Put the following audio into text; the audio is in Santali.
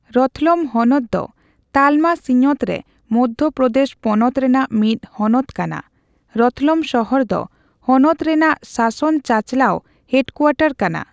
ᱨᱚᱛᱞᱚᱢ ᱦᱚᱱᱚᱛ ᱫᱚ ᱛᱟᱞᱢᱟ ᱥᱤᱧᱚᱛ ᱨᱮ ᱢᱚᱫᱷᱭᱚ ᱯᱨᱚᱫᱮᱥ ᱯᱚᱱᱚᱛ ᱨᱮᱱᱟᱜ ᱢᱤᱫ ᱦᱚᱱᱚᱛ ᱠᱟᱱᱟ ᱾ ᱨᱚᱛᱞᱚᱢ ᱥᱚᱦᱚᱨ ᱫᱚ ᱦᱚᱱᱚᱛ ᱨᱮᱱᱟᱜ ᱥᱟᱥᱚᱱ ᱪᱟᱪᱞᱟᱣ ᱦᱮᱰᱠᱩᱣᱟᱴᱚᱨ ᱠᱟᱱᱟ ᱾